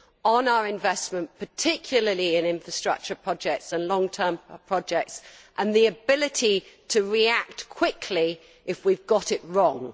on our investment, particularly in infrastructure projects and long term projects, and the ability to react quickly if we have got it wrong?